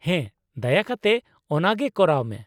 -ᱦᱮᱸ, ᱫᱟᱭᱟ ᱠᱟᱛᱮ ᱚᱱᱟ ᱜᱮ ᱠᱚᱨᱟᱣ ᱢᱮ ᱾